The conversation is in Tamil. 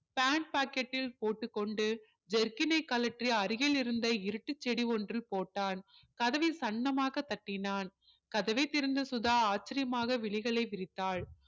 pant pocket ல் போட்டு கொண்டு jerkin னை கழற்றி அருகில் இருந்த இருட்டு செடி ஒன்றில் போட்டான் கதவை சன்னமாக தட்டினான் கதவை திறந்த சுதா ஆச்சரியமாக விழிகளை விரித்தால்